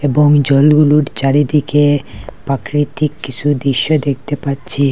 এবং জলগুলোর চারিদিকে পাকৃতিক কিছু দৃশ্য দেখতে পাচ্ছি।